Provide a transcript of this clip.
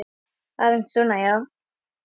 Aðeins svona, já.